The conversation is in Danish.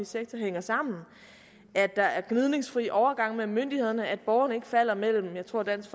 sektor hænger sammen at der er gnidningsfri overgang mellem myndighederne at borgerne ikke falder mellem jeg tror at dansk